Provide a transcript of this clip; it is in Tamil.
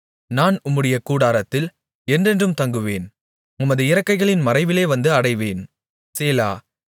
நான் உம்முடைய கூடாரத்தில் என்றென்றும் தங்குவேன் உமது இறக்கைகளின் மறைவிலே வந்து அடைவேன் சேலா